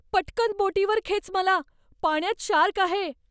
पटकन बोटीवर खेच मला, पाण्यात शार्क आहे.